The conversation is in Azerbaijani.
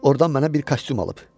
Ordan mənə bir kostyum alıb.